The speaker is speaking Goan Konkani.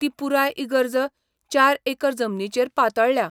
ती पुराय इगर्ज चार एकर जमनीचेर पातळळ्या.